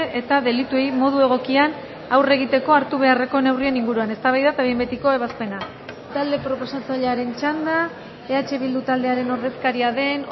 eta delituei modu egokian aurre egiteko hartu beharreko neurrien inguruan eztabaida eta behin betiko ebazpena talde proposatzailearen txanda eh bildu taldearen ordezkaria den